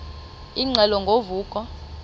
ingxelo ngo vuko